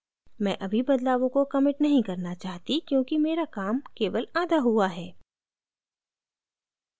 मैं अभी बदलावों को commit नहीं करना चाहती क्योंकि मेरा काम केवल आधा हुआ है